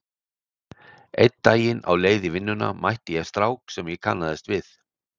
Einn daginn á leið í vinnuna mætti ég strák sem ég kannaðist við.